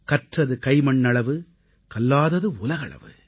கற்றது கைமண்ணளவு கல்லாதது உலகளவு